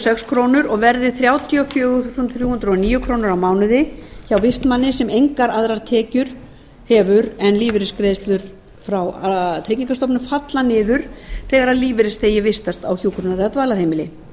sex krónur og verði þrjátíu og fjögur þúsund þrjú hundruð og níu krónur á mánuði hjá vistmanni sem engar aðrar tekjur hefur en lífeyrisgreiðslur frá tryggingastofnun falla niður þegar lífeyrisþegi vistast á hjúkrunar eða